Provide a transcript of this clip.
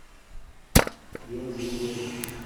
вин дизель